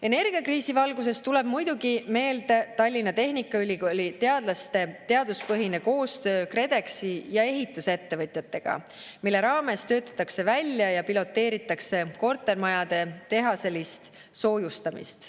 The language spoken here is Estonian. Energiakriisi valguses tuleb muidugi meelde Tallinna Tehnikaülikooli teadlaste teaduspõhine koostöö KredExi ja ehitusettevõtjatega, mille raames töötatakse välja ja piloteeritakse kortermajade tehaselist soojustamist.